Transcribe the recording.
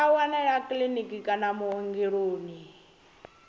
a wanalea kiḽiniki kana vhuongeloni